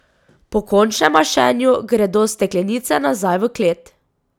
Po končnem mašenju gredo steklenice nazaj v klet.